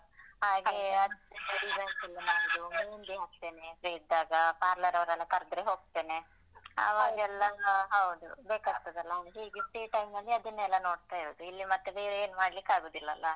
ಹಾಗೆ ಅದೆಲ್ಲ design ಎಲ್ಲ ಮಾಡುದು मेहंदी ಹಾಕ್ತೇನೆ free ಇದ್ದಾಗ parlour ಅವ್ರೆಲ್ಲ ಕರ್ದ್ರೆ ಹೋಗ್ತೇನೆ ಆವಾಗೆಲ್ಲ ಆ ಹೌದು ಬೇಕಾಗ್ತದಲ್ಲ ಹೀಗೆ free time ಅಲ್ಲಿ ಅದನ್ನೆಲ್ಲ ನೋಡ್ತಾ ಇರುದು ಇಲ್ಲಿ ಮತ್ತೆ ಬೇರೆ ಏನೂ ಮಾಡ್ಲಿಕ್ಕ್ ಆಗುದಿಲ್ಲಲ್ಲ.